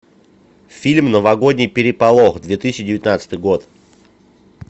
фильм новогодний переполох две тысячи девятнадцатый год